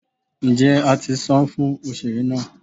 njé a ti sán fún osere náá?